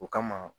O kama